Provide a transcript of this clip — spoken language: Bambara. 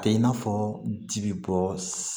A tɛ i n'a fɔ ji bɛ bɔ